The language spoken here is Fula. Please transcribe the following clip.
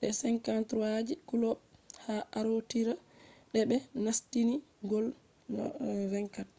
de 53 je kulob ha arootira de be nastini gol 24